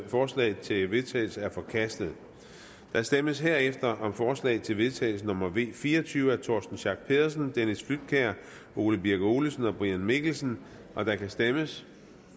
forslag til vedtagelse er forkastet der stemmes herefter om forslag til vedtagelse nummer v fire og tyve af torsten schack pedersen dennis flydtkjær ole birk olesen og brian mikkelsen og der kan stemmes